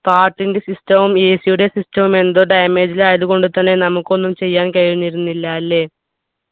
പാട്ടിൻ്റെ system വും AC യുടെ system വും എന്തോ damage ലായതുകൊണ്ടു തന്നെ നമുക്കൊന്നും ചെയ്യാൻ കഴിഞ്ഞിരുന്നില്ല അല്ലെ